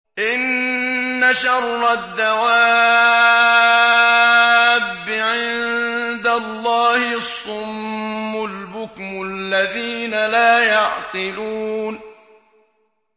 ۞ إِنَّ شَرَّ الدَّوَابِّ عِندَ اللَّهِ الصُّمُّ الْبُكْمُ الَّذِينَ لَا يَعْقِلُونَ